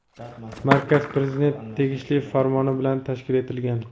markaz Prezidentning tegishli Farmoni bilan tashkil etilgan.